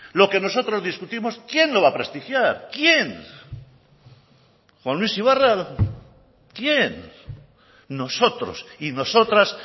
lo que nosotros discutimos quién lo va a prestigiar quién juan luis ibarra quién nosotros y nosotras